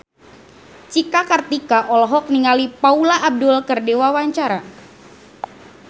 Cika Kartika olohok ningali Paula Abdul keur diwawancara